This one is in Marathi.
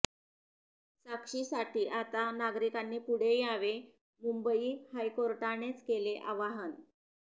साक्षीसाठी आता नागरिकांनी पुढे यावे मुंबई हायकोर्टानेच केले आवाहन